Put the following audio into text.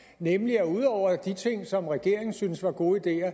nemlig at ud over de ting som regeringen synes er gode ideer